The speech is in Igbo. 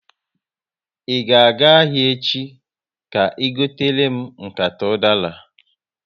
Ị ga aga ahịa echi, ka i gotere m nkata udara?